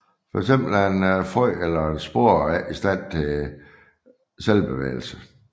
For eksempel er et frø eller en spore ikke i stand til selvbevægelse